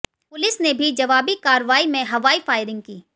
police ने भी जवाबी कार्रवाई में हवाई फायरिंग की